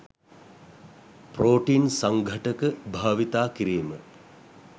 protein සංඝටක භාවිතා කිරිම